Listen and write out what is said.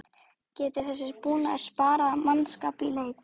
Jóhann: Getur þessi búnaður sparað mannskap í leit?